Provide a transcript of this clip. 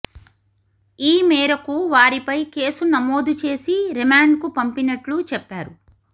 ఈ మేరకు వారిపై కేసు నమోదు చేసి రిమాండ్కు పంపినట్లు చెప్పారు